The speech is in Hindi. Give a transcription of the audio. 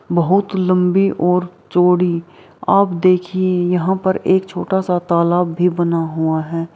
बहुत लंबी और चौड़ी आप देखिये यहाँ पर एक छोटा-सा तालाब भी बना हुआ है।